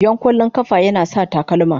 Yan kwallon kafa yana sa takalma.